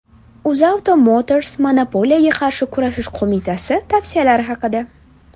UzAuto Motors Monopoliyaga qarshi kurashish qo‘mitasi tavsiyalari haqida.